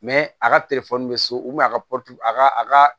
a ka bɛ so a ka a ka a ka